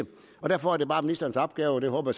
og derfor er det bare ministerens opgave og den håber